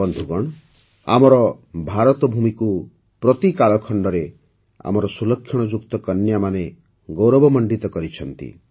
ବନ୍ଧୁଗଣ ଆମର ଭାରତଭୂମିକୁ ପ୍ରତି କାଳଖଣ୍ଡରେ ଆମର ସୁଲକ୍ଷଣଯୁକ୍ତ କନ୍ୟାମାନେ ଗୌରବମଣ୍ଡିତ କରିଛନ୍ତି